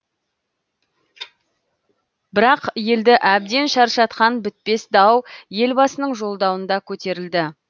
бірақ елді әбден шаршатқан бітпес дау елбасының жолдауында көтерілді